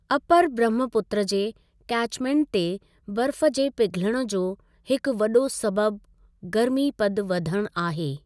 Upper Brahmaputra जे catchment ते बर्फ़ जे पिघलण जो हिकु वॾो सबबि गर्मी पद वधणु आहे।